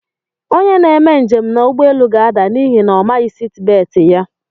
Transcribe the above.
Onye na-eme njem na ụgbọelu ga-ada n'ihi na omaghi siti beeti ya.